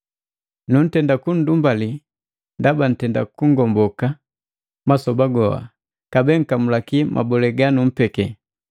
Nuntenda kunndumbali ndaba nntenda kungomboka masoba goa kabee nkamulaki mabole ganumpeki.